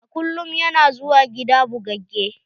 A kullum ya na zuwa gida bugagge.